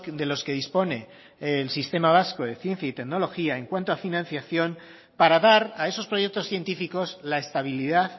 de los que dispone el sistema vasco de ciencia y tecnología en cuanto a financiación para dar a esos proyectos científicos la estabilidad